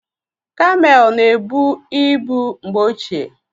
Kameelụ na-ebu ibu mgbe ochie.